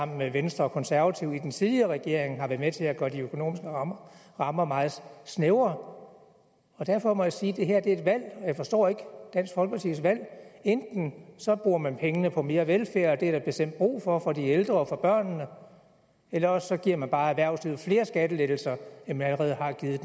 med venstre og konservative i den tidligere regering har været med til at gøre de økonomiske rammer rammer meget snævre derfor må jeg sige at det her er et valg og jeg forstår ikke dansk folkepartis valg enten bruger man pengene på mere velfærd og det er der bestemt brug for for de ældre og for børnene eller også giver man bare erhvervslivet flere skattelettelser end man allerede har givet